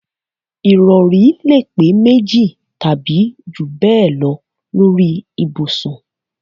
Ìrọ̀rí lè pé méjì tàbí jù bẹ́ẹ̀ lọ lórí ibùsùn